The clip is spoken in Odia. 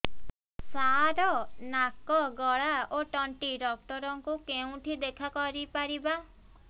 ସାର ନାକ ଗଳା ଓ ତଣ୍ଟି ଡକ୍ଟର ଙ୍କୁ କେଉଁଠି ଦେଖା କରିପାରିବା